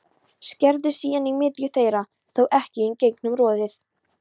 Skerðu síðan í miðju þeirra, þó ekki í gegnum roðið.